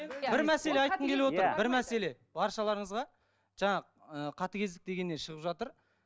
бір мәселе баршаларыңызға жаңа ыыы қатыгездік дегеннен шығып жатыр